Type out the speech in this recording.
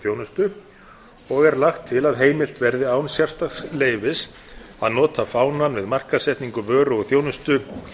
þjónustu og er lagt til að heimilt verði án sérstaks leyfis að nota fánann við markaðssetningu vöru og þjónustu